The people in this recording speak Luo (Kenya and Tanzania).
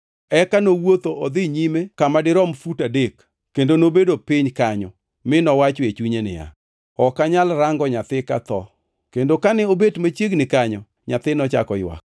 Eka nowuotho odhi nyime kama dirom fut adek kendo nobedo piny kanyo, mi nowacho e chunye niya, “Ok anyal rango nyathi katho.” Kendo kane obet machiegni kanyo, nyathi nochako ywak.